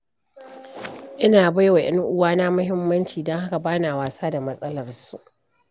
Ina ba wa 'yan uwana muhimmanci, don haka ba na wasa da matsalarsu.